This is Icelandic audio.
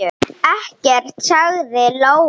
Ekkert, sagði Lóa.